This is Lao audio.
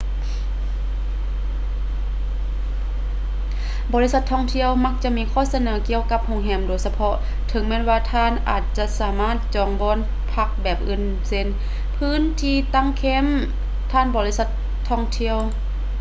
ບໍລິສັດທ່ອງທ່ຽວມັກຈະມີຂໍ້ສະເໜີກ່ຽວກັບໂຮງແຮມໂດຍສະເພາະ ເຖິງແມ່ນວ່າທ່ານອາດຈະສາມາດຈອງບ່ອນພັກແບບອື່ນເຊັ່ນ ພື້ນທີ່ຕັ້ງແຄັມຍຜ່ານບໍລິສັດທ່ອງທ່ຽວ